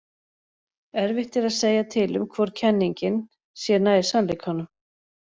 Erfitt er að segja til um hvor kenningin sé nær sannleikanum.